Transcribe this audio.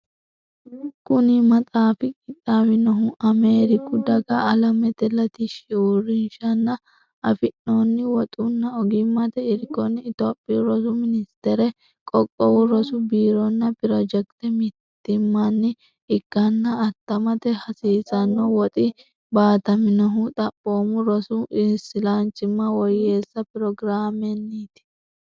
Kuni maxaafi qixxaawinohu Ameeriku Daga Alamete Latishshi Uurrinshanni afi noonni woxunna ogimmate irkonni Itophiyu Rosu Ministere Qoqqowu Rosu Biironna pirojekite mittimmanni ikkanna attamate hasiisanno woxi baataminohu Xaphoomu Rosi Islanchimma Woyyeesso Pirogiraamenniiti.